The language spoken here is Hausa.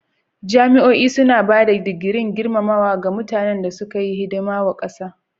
Jami'o'i suna ba da digirin gurmamawa ga mutanan na suka yi wa kasa hidima.